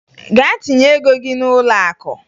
Gaa tinye ego gị n'ụlọakụ!